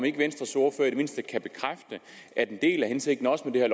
ikke venstres ordfører i det mindste kan bekræfte at en del af hensigten også med det